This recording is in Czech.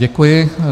Děkuji.